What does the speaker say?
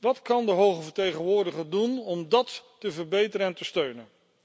Wat kan de hoge vertegenwoordiger doen om dat te verbeteren en te steunen?